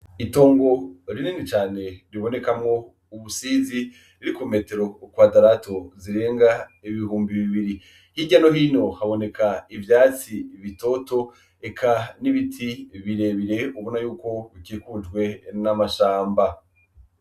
Itongo rinini cane ribonekamwo ubusizi buri kumetero kwadarato zirenga ibihumbi bibiri hirya no hino haboneka ivyatsi bitoto eka n' ibiti bire bire ubona yuko bikikujwe n' amashamba.